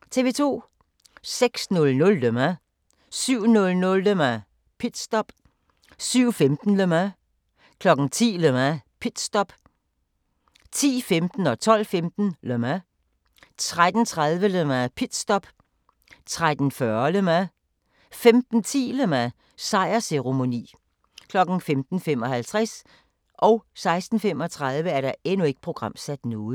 06:00: Le Mans 07:00: Le Mans - pitstop 07:15: Le Mans 10:00: Le Mans - pitstop 10:15: Le Mans 12:15: Le Mans 13:30: Le Mans - pitstop 13:40: Le Mans 15:10: Le Mans - sejrsceremoni 15:55: Ikke programsat